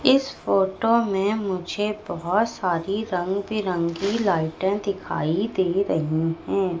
इस फोटो में मुझे बहोत सारी रंग-बिरंगी लाइटें दिखाई दे रही है।